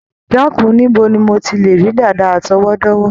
Dákun, níbo ni mo ti lè rí dàda àtọwọ́dá?